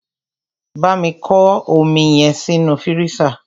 Bámi kọ́ omi yẹn sínú fírísà!